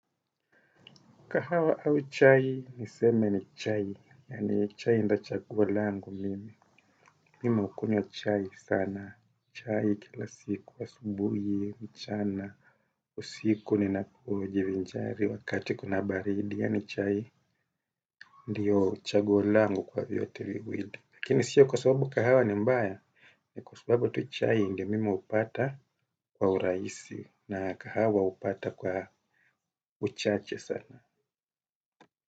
Kahawa au chai, niseme ni chai. Yani chai nda chaguo langu mimi. Mimi hukunywa chai sana. Chai kila siku asubuhi, mchana. Usiku nina hujivinjari, wakati kuna baridi. Yani chai ndiyo chaguo langu kwa vyote viwili. Lakini siyo kwa sababu kahawa ni mbaya. Kwa sababu tu chai ndio mimi upata kwa uraisi. Na kahawa upata kwa uchache sana.